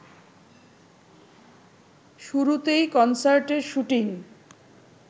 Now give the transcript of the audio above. শুরুতেই কনসার্টের শুটিং